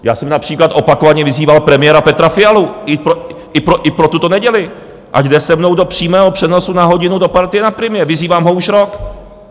Já jsem například opakovaně vyzýval premiéra Petra Fialu i pro tuto neděli, ať jde se mnou do přímého přenosu na hodinu do partie na Primě, vyzývám ho už rok.